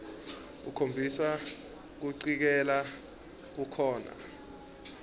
ukhombisa kucikelela kukhona